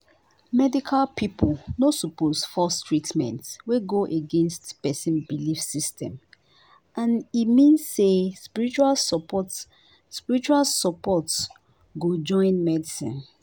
medical people no suppose force treatment wey go against person religious belief and e mean say spiritual support spiritual support go join medicine